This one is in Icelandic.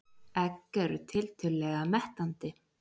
Egg eru tiltölulega mettandi.